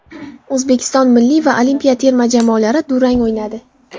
O‘zbekiston milliy va olimpiya terma jamoalari durang o‘ynadi.